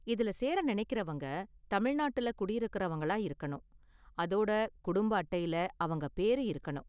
இதுல சேர நெனைக்கறவங்க தமிழ்நாட்டுல குடியிருக்குறவங்களா இருக்கணும், அதோட குடும்ப அட்டைல அவங்க பேரு இருக்கணும்.